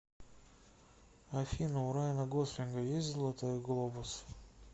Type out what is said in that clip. афина у райана гослинга есть золотой глобус